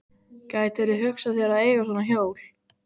Gætirðu hugsað þér að eiga svona hjól?